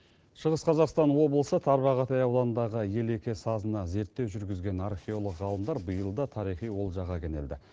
шығыс қазақстан облысы тарбағатай ауданындағы елеке сазына зерттеу жүргізген археолог ғалымдар биыл да тарихи олжаға кенелді